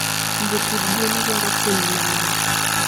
Jopidh gwen dwaro puonj mangeny